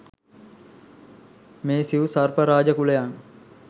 මේ සිව් සර්ප රාජ කුලයන්